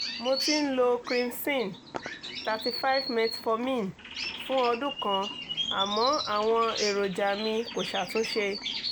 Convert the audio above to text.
mo ti ń lo krimson-35metformin fún ọdún kan àmọ́ àwọn èròjà mi kò ṣàtúnṣe